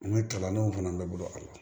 An ka kalandenw fana bɛ bolo a la